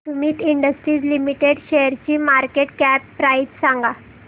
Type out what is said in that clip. Sumeet industries limited शेअरची market cap price सांगा